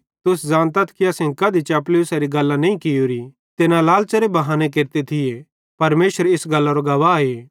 तुस ज़ानतथ कि असेईं कधी चपलूसारी गल्लां नईं कियोरी ते न लालच़ेरे लेइ बहानो केरते थी परमेशर इस गल्लरो गवाहे